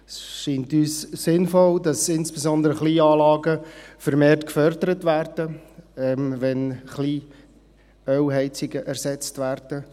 Es scheint uns sinnvoll, dass insbesondere Kleinanlagen vermehrt gefördert werden, wenn Kleinölheizungen ersetzt werden.